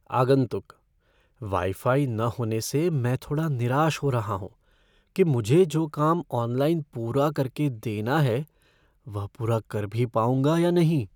आगंतुक "wifi न होने से मैं थोड़ा निराश हो रहा हूँ कि मुझे जो काम ऑनलाइन पूरा करके देना है वह पूरा कर भी पाऊंगा या नहीं।"